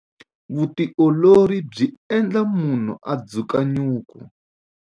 Vutiolori byi endla munhu a dzuka nyuku.